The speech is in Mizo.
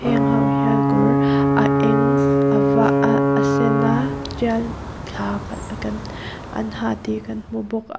hengho hian kawr a eng a var ah a sen a tial thla an ha tih kan hmu bawk a.